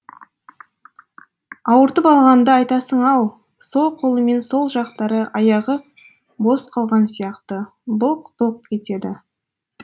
ауыртып алғанды айтасың ау сол қолы мен сол жақтары аяғы бос қалған сияқты былқ былқ етеді